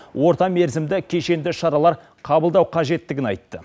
орта мерзімді кешенді шаралар қабылдау қажеттігін айтты